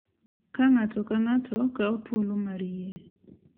Ka ng’ato ka ng’ato kawo thuolo mar yie .